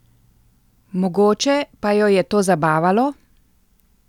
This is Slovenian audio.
Mogoče pa jo je to zabavalo?